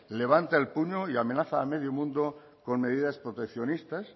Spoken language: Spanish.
levanta el puño y amenaza a medio mundo con medidas proteccionistas